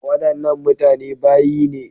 Wadannan mutane bayi ne.